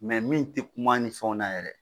Mɛ min te kuma ni fɛnw na yɛrɛ